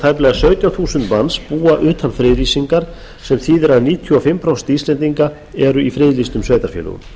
tæplega sautján þúsund manns búa utan friðlýsingar sem þýðir að níutíu og fimm prósent íslendinga eru í friðlýstum sveitarfélögum